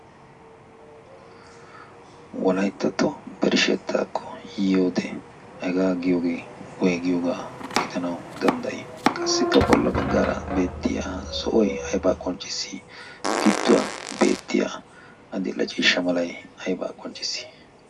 Wolayttato birshshetakko yiyoode hega giyooge woyggiyooga gidanaw dandday. qassikka bolla baggara zo'oy aybba qonccissi? gidduwan beettiya addil''e ciishsha mala aybba qonccissi?